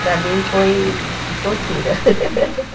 Para mim foi tortura.